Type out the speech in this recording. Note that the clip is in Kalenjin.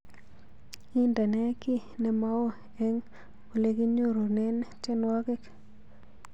Indene kiiy nemaoo eng oleginyorunen tyenwogik